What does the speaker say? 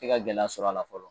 Te ka gɛlɛya sɔrɔ a la fɔlɔ